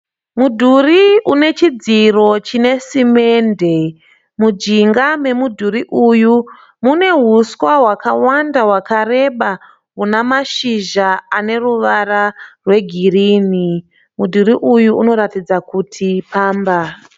Mudhuri une chidziro chine simende. Mujinga memudhuri uyu mune huswa hwakawanda hwakareba huna mashizha ane ruvara rwegirinhi. Mudhuri uyu unoratidza kuti pamba.